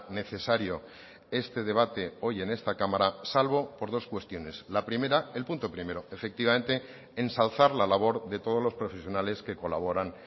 necesario este debate hoy en esta cámara salvo por dos cuestiones la primera el punto primero efectivamente ensalzar la labor de todos los profesionales que colaboran